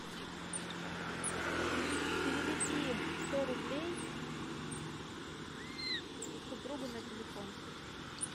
переведи сто рублей супругу на телефон